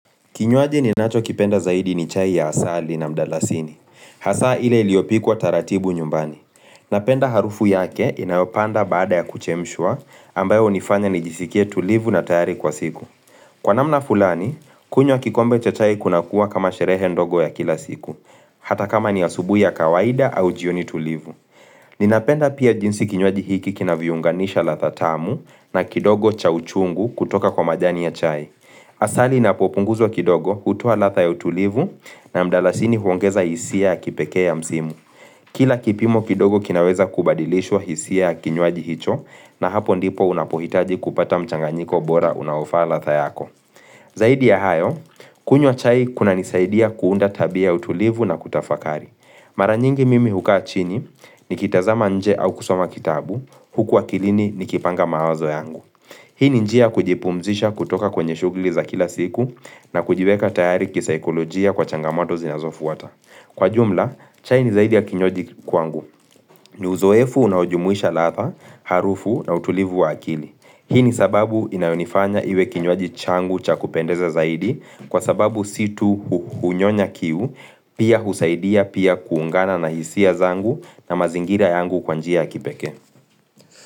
Kinywaji ninachokipenda zaidi ni chai ya asali na mdalasini. Hasa ile iliyopikwa taratibu nyumbani. Napenda harufu yake inayopanda baada ya kuchemshwa ambayo hunifanya nijisikie tulivu na tayari kwa siku. Kwa namna fulani, kunywa kikombe cha chai kunakuwa kama sherehe ndogo ya kila siku. Hata kama ni asubuhi ya kawaida au jioni tulivu. Ninapenda pia jinsi kinywaji hiki kinavyounganisha ladha tamu na kidogo cha uchungu kutoka kwa majani ya chai. Asali inapopunguzwa kidogo hutoa ladha ya utulivu na mdalasini huongeza hisia ya kipekee ya mzimu. Kila kipimo kidogo kinaweza kubadilishwa hisia ya kinywaji hicho na hapo ndipo unapohitaji kupata mchanganyiko bora unaofaa ladha yako Zaidi ya hayo, kunywa chai kunanisaidia kuunda tabia ya utulivu na kutafakari Mara nyingi mimi hukaa chini, nikitazama nje au kusoma kitabu, huku akilini nikipanga mawazo yangu Hii ni njia ya kujipumzisha kutoka kwenye shughli za kila siku na kujiweka tayari kisaikolojia kwa changamato zinazofuata. Kwa jumla, chai ni zaidi ya kinywaji kwangu. Ni uzoefu unaojumuisha ladha, harufu na utulivu wa akili. Hii ni sababu inayonifanya iwe kinywaji changu cha kupendeza zaidi kwa sababu si tu kunyonya kiu pia husaidia pia kuungana na hisia zangu na mazingira yangu kwa njia ya kipekee.